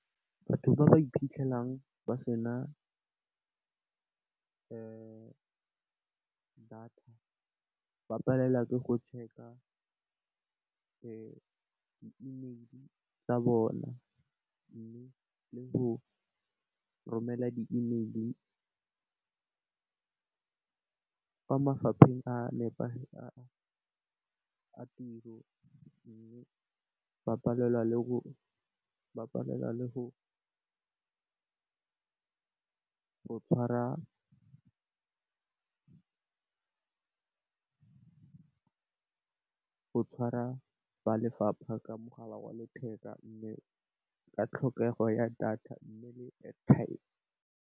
Batho ba ba iphitlhelang ba sena data ba palelwa ke go check-a di email tsa bona mme, le go romela di email fa mafapheng a nepagetseng a tiro. Ba palelwa le go tshwara ba lefapha ka mogala wa letheka mme, ka tlhokego ya data mme, le airtime.